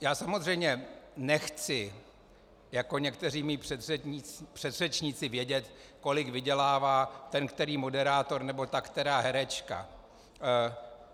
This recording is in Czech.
Já samozřejmě nechci jako někteří mí předřečníci vědět, kolik vydělává ten který moderátor nebo ta která herečka.